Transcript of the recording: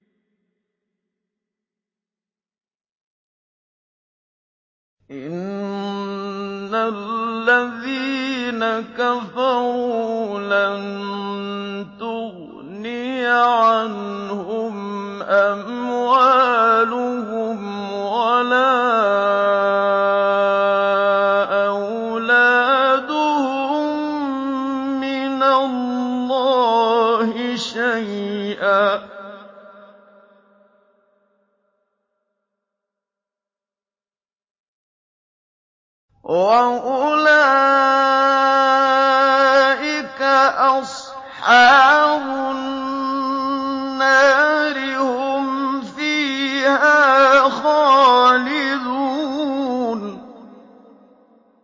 إِنَّ الَّذِينَ كَفَرُوا لَن تُغْنِيَ عَنْهُمْ أَمْوَالُهُمْ وَلَا أَوْلَادُهُم مِّنَ اللَّهِ شَيْئًا ۖ وَأُولَٰئِكَ أَصْحَابُ النَّارِ ۚ هُمْ فِيهَا خَالِدُونَ